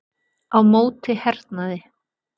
Á móti hernaði